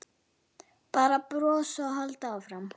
Bara brosa og halda áfram.